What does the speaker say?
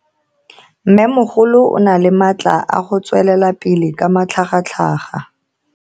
Mmemogolo o na le matla a go tswelela pele ka matlhagatlhaga.